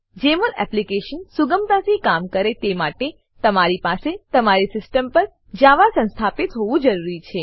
જમોલ application સુગમતાથી કામ કરે તે માટે તમારી પાસે તમારી સીસ્ટમ પર જાવા સંસ્થાપિત હોવું જરૂરી છે